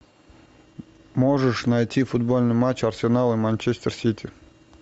можешь найти футбольный матч арсенал и манчестер сити